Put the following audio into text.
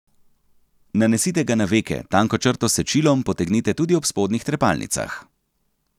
Nanesite ga na veke, tanko črto s sečilom potegnite tudi ob spodnjih trepalnicah.